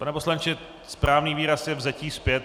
Pane poslanče, správný výraz je vzetí zpět.